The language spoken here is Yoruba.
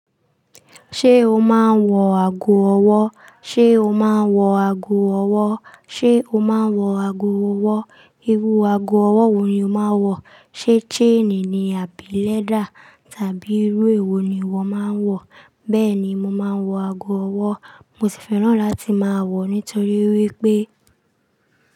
Ṣé o máa ń wọ ago ọwọ́? Ṣé o máa ń wọ ago ọwọ́? Ṣé o máa ń wọ ago ọwọ́? Irú ago ọwọ́ wo ni o máa ń wọ? Ṣé chain ni àbí leather tàbí irú èwo ni ìwọ máa ń wọ? Bẹ́ẹ̀ ni, mo máa ń wọ ago ọwọ́. Mo sì fẹ́ràn láti máa wọ̀ nítorí wípé.